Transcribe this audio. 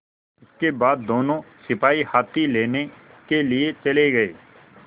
इसके बाद दोनों सिपाही हाथी लेने के लिए चले गए